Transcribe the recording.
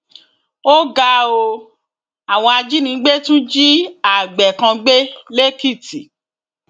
ó ga ọ àwọn ajínigbé tún jí àgbẹ kan gbé lẹkìtì